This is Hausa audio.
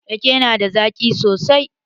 Rake na da zaƙi sosai.